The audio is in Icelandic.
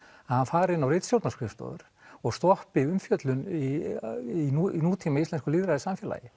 að fara inn á ritstjórnarskrifstofu og stoppi umfjöllun í í nútíma íslensku lýðræðissamfélagi